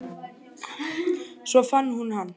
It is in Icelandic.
Svo fann hún hann.